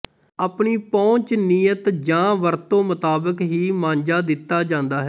ਆਪਣੀ ਪਹੁੰਚ ਨੀਅਤ ਜਾਂ ਵਰਤੋਂ ਮੁਤਾਬਕ ਹੀ ਮਾਂਜਾ ਦਿੱਤਾ ਜਾਂਦਾ ਹੈ